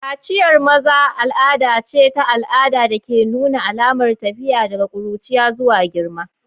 Kaciyar maza al'ada ce ta al'ada da ke nuna alamar tafiya daga ƙuruciya zuwa girma.